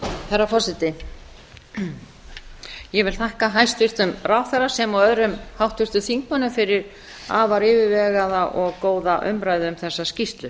herra forseti ég vil þakka hæstvirtum ráðherra sem og öðrum háttvirtum þingmönnum fyrir afar yfirvegaða og góða umræðu um þessa skýrslu